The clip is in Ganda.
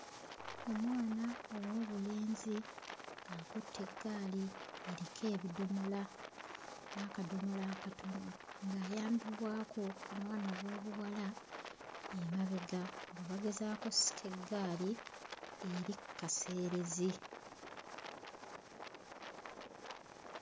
Omwana ow'obulenzi akutte eggaali eriko ebidomola n'akadomola akatono ng'ayambibwako omwana ow'obuwala emabega nga bagezaako ossika eggali eri kkaseerezi.